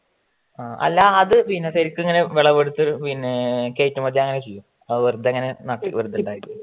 ആ അല്ല അത് പിന്നെ ശരിക്കും അങ്ങനെ വിളവെടുത്ത്‌ പിന്നെ കയറ്റുമതി അങ്ങനെ ചെയ്യും ആ വെറുതെ നാട്ടില്